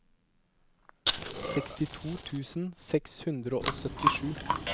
sekstito tusen seks hundre og syttisju